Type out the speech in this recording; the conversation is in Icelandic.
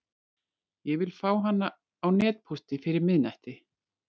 Ég vil fá hana á netpósti fyrir miðnætti.